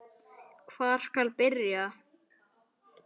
Hvar skal byrja?